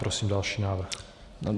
Prosím další návrh.